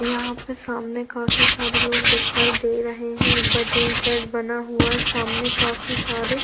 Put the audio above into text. यहाँ पर सामने काफी सारे लोग दिखाई दे रहे हैं ऊपर टीन सेट बना हुआ हैं सामने काफी सारे--